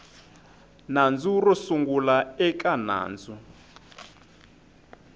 nandzu ro sungula eka nandzu